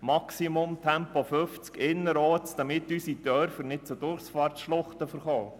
Maximal Tempo 50 km/h innerorts, damit unsere Dörfer nicht zu Durchfahrtsschluchten verkommen.